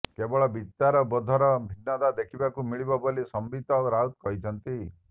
କେବଳ ବିଚାରବୋଧର ଭିନ୍ନତା ଦେଖିବାକୁ ମିଳିବ ବୋଲି ସମ୍ବିତ ରାଉତ କହିଛନ୍ତି